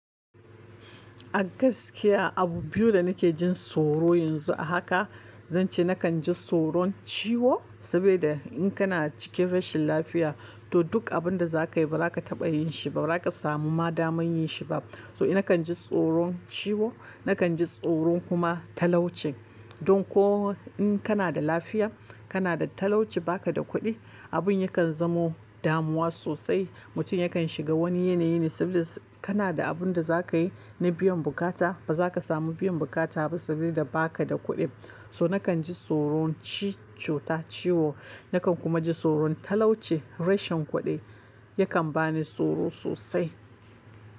A gaskiya abu biyu da nake jin tsoro yanzu a haka, zan ce nakan ji tsoron ciwo saboda in kana cikin rashin lafiya to duk abun da zaka yi bazaka taɓa yin shi ba, bazaka samu ma damar yin shiba. So nakan ji tsoron ciwo, nakan ji tsoron kuma talauci. Don ko in kana da lafiya, kana da talauci ba ka da kuɗi, abin yakan zamo damuwa sosai. Mutum yakan shiga wani yanayi ne saboda kana da abin da zaka yi na biyan bukata, baza ka samu biyan bukata ba saboda baka da kuɗi. So nakan ji tsoron ci-cuta ciwo, nakan kuma ji tsoron talauci. Rashin kuɗi yakan bani tsoro sosai.